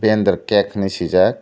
dentger cake hinui sui jak.